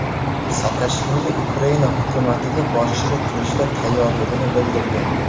Saakashvili Ukraina hukumatiga boshchilik qilishga tayyorligini bildirdi.